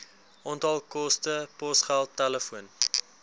onthaalkoste posgeld telefoon